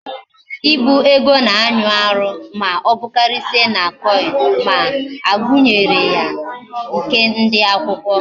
Ibu ego na anyi Aru ma obukarisia na coin, ma agunyere ya nke ndi akwukwo